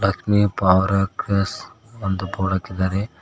ಲಕ್ಷ್ಮಿ ಪೌರಾಕರ್ಸ ಅಂತ ಬೋರ್ಡ್ ಹಾಕಿದ್ದಾರೆ.